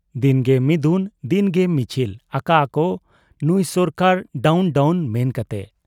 ᱫᱤᱱᱜᱮ ᱢᱤᱫᱩᱱ ᱫᱤᱱᱜᱮ ᱢᱤᱪᱷᱤᱞ ᱟᱠᱟᱜ ᱟ ᱠᱚ 'ᱱᱩᱸᱭ ᱥᱚᱨᱠᱟᱨ ᱰᱟᱣᱱ ᱰᱟᱣᱱ' ᱢᱮᱱ ᱠᱟᱛᱮ ᱾